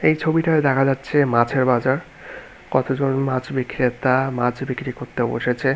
এই ছবিটাই দেখা যাচ্ছে মাছের বাজার কতজন মাছ বিক্রেতা মাছ বিক্রি করতে বসেছে।